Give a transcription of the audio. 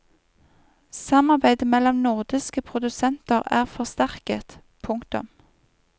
Samarbeidet mellom nordiske produsenter er forsterket. punktum